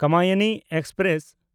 Kamayani express